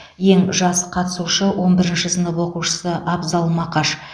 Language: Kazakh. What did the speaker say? ең жас қатысушы он бірінші сынып оқушысы абзал мақаш